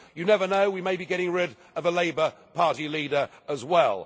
You never know, we may be getting rid of a Labour Party leader as well.